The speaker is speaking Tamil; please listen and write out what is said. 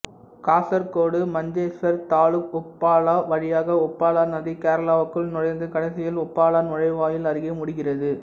காசர்கோடு மஞ்சேஸ்வர் தாலுக் உப்பாலா வழியாக உப்பலா நதி கேரளாவுக்குள் நுழைந்து கடைசியில் உப்பாலா நுழைவாயில் அருகே முடிகிறது